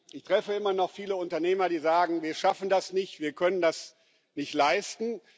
Ich treffe immer noch viele Unternehmer, die sagen Wir schaffen das nicht, wir können das nicht leisten.